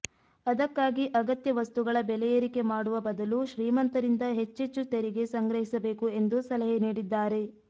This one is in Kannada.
ಅದಕ್ಕಾಗಿ ಅಗತ್ಯ ವಸ್ತುಗಳ ಬೆಲೆ ಏರಿಕೆ ಮಾಡುವ ಬದಲು ಶ್ರೀಮಂತರಿಂದ ಹೆಚ್ಚೆಚ್ಚು ತೆರಿಗೆ ಸಂಗ್ರಹಿಸಬೇಕು ಎಂದು ಸಲಹೆ ನೀಡಿದ್ದಾರೆ